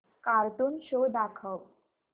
cartoon show दाखव